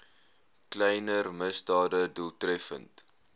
kleiner misdade doeltreffend